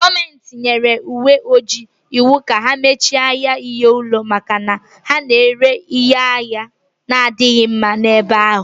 Gọọmenti nyere ndị uwe ojii iwu ka ha mechie ahịa ihe ụlọ maka na ha na-ere ngwaahịa na-adịghị mma n'ebe ahụ